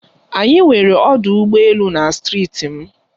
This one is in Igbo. Anyị nwere ọdụ ụgbọ elu na Steeti m.